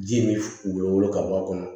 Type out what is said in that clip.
Ji min bɛ wolo ka bɔ a kɔnɔ